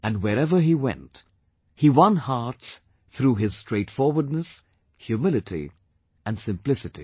And wherever he went he won hearts through his straightforwardness, humility and simplicity